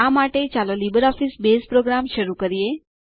આ માટે ચાલો લીબરઓફીસ બેઝ પ્રોગ્રામ શરુ કરીએ